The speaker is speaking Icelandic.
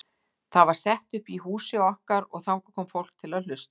Það var sett upp í húsi okkar og þangað kom fólkið til að hlusta.